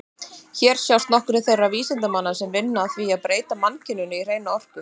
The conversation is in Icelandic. Hér sjást nokkrir þeirra vísindamanna sem vinna að því að breyta mannkyninu í hreina orku.